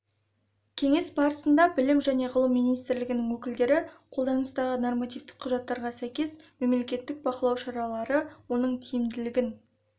кеңес барысында білім және ғылым министрлігінің өкілдері қолданыстағы нормативтік құжаттарға сәйкес мемлекеттік бақылау шаралары оның тиімділігін